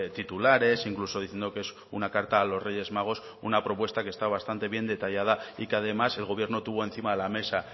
titulares incluso diciendo que es una carta a los reyes magos una propuesta que está bastante bien detallada y que además el gobierno tuvo encima de la mesa